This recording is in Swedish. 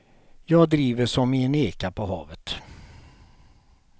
Jag driver som i en eka på havet.